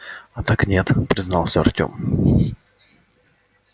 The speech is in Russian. а так нет признался артём